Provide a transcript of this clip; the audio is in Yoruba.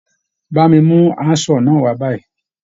Bá mi mú handsaw náà wá báyìí.